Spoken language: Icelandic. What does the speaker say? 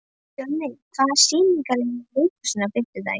Fjörnir, hvaða sýningar eru í leikhúsinu á fimmtudaginn?